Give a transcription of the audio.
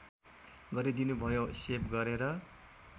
गरिदिनुभयो सेभ गरेर